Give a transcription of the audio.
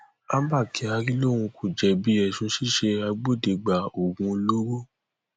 àwọn tóògì pa òṣìṣẹ operation abrit nítòsí ògbọmọso